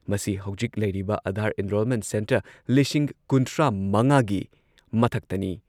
ꯃꯁꯤ ꯍꯧꯖꯤꯛ ꯂꯩꯔꯤꯕ ꯑꯥꯙꯥꯔ ꯑꯦꯟꯔꯣꯜꯃꯦꯟꯠ ꯁꯦꯟꯇꯔ ꯂꯤꯁꯤꯡ ꯀꯨꯟꯊ꯭ꯔꯥꯃꯉꯥꯒꯤ ꯃꯊꯛꯇꯅꯤ